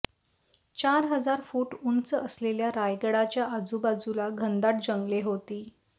चार हजार फुट उंच असलेल्या रायगडाच्या आजुबाजुला घनदाट जंगले होती